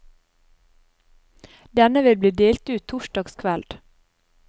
Denne vil bli delt ut torsdag kveld.